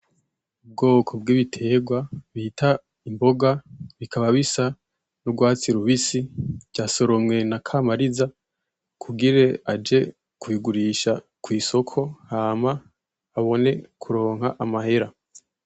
Ubwoko bw’ibitegwa bita imboga, bikaba bisa n’ugwatsi rubisi vyasoromwe nakamariza kugira aje kubigurisha kw’isoko hama abone kuronka amahera.